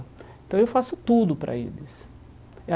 Então eu faço tudo para eles é